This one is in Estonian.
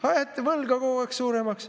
Ei, ajate võlga kogu aeg suuremaks.